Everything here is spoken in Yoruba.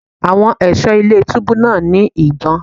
Àwọn ẹ̀ṣọ́ ilé túbú náà ní ìbọn.